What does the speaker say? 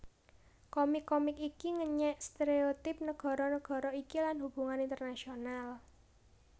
Komik komik iki ngenyèk stéréotip nagara nagara iki lan hubungan internasional